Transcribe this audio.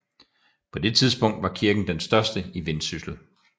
På det tidspunkt var kirken den største i Vendsyssel